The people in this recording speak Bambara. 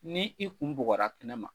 Ni i kun bugɔra kɛnɛ ma?